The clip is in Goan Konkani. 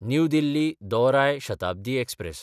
न्यू दिल्ली–दौराय शताब्दी एक्सप्रॅस